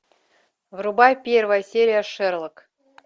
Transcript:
врубай первая серия шерлок